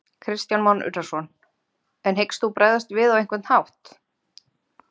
Kristján Már Unnarsson: En hyggst þú bregðast við á einhvern hátt?